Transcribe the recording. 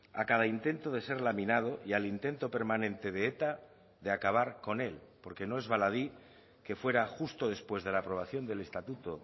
a cada intento de ser laminado y al intento permanente de eta de acabar con él porque no es baladí que fuera justo después de la aprobación del estatuto